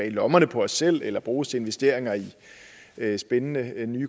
i lommerne på os selv eller bruges til investeringer i nye spændende